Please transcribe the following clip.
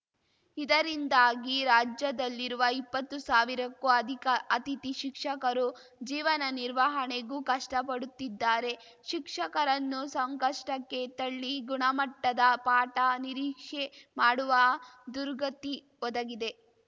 ಇದರಿಂದಾಗಿ ರಾಜ್ಯದಲ್ಲಿರುವ ಇಪ್ಪತ್ತು ಸಾವಿರಕ್ಕೂ ಅಧಿಕ ಅತಿಥಿ ಶಿಕ್ಷಕರು ಜೀವನ ನಿರ್ವಹಣೆಗೂ ಕಷ್ಟಪಡುತ್ತಿದ್ದಾರೆ ಶಿಕ್ಷಕರನ್ನು ಸಂಕಷ್ಟಕ್ಕೆ ತಳ್ಳಿ ಗುಣಮಟ್ಟದ ಪಾಠ ನಿರೀಕ್ಷೆ ಮಾಡುವ ದುರ್ಗತಿ ಒದಗಿದೆ